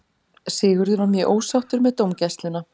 Sigurður var mjög ósáttur með dómgæsluna.